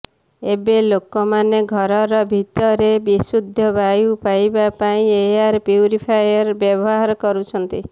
ଏବେ ଲୋକମାନେ ଘରର ଭିତରେ ବିଶୁଦ୍ଧ ବାୟୁ ପାଇବା ପାଇଁ ଏୟାର ପ୍ୟୁରିଫାୟର୍ ବ୍ୟବହାର କରୁଛନ୍ତି